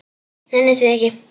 Nenni því ekki